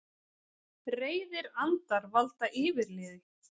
Reiðir andar valda yfirliði